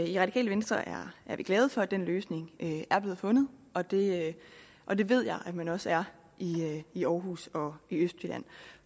i radikale venstre er vi glade for at den løsning er blevet fundet og det og det ved jeg man også er i i aarhus og i østjylland